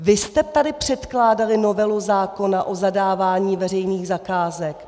Vy jste tady předkládali novelu zákona o zadávání veřejných zakázek.